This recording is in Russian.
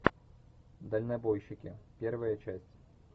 дальнобойщики первая часть